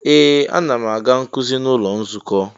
Ee! Ana m aga nkuzi n'ụlọ nzukọ.